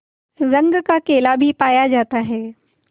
रंग का केला भी पाया जाता है